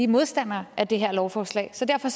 modstandere af det her lovforslag så derfor